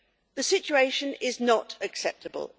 The situation is not acceptable.